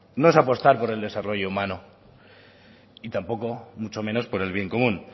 no es apostar por el desarrollo humano y tampoco mucho menos por el bien común